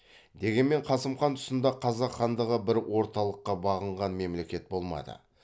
дегенмен қасым хан тұсында қазақ хандығы бір орталыққа бағынған мемлекет болмады